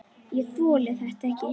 Ég þoli þetta ekki.